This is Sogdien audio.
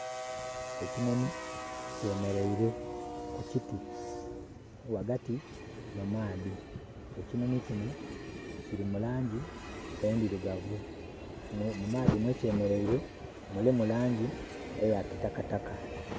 Ekinhonhi kyemereire kukyiti wagati mumaadhi ekyinhonhi kyino kyili mulangi endhirugavu. Mumaadhi mwekyemereire mulimu langi eya kitakataka.